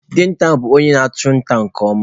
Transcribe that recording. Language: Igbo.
Dinta bụ onye na-achụ nta nke ọma.